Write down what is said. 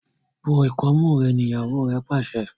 bó ikọmu rẹ! ní ìyàwó re pàṣẹ.